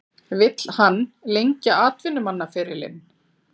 Vill hann lengja atvinnumannaferilinn?